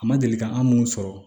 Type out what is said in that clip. A ma deli ka an minnu sɔrɔ